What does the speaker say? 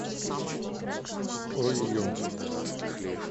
ойо